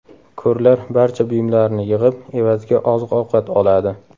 Ko‘rlar barcha buyumlarini yig‘ib, evaziga oziq-ovqat oladi.